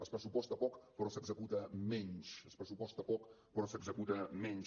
es pressuposta poc però s’executa menys es pressuposta poc però s’executa menys